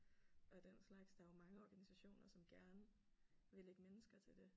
Og den slags der er jo mange organisationer som gerne vil lægge mennesker til det